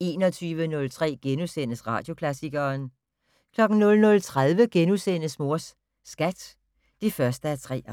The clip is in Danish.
21:03: Radioklassikeren * 00:30: Mors Skat (1:3)*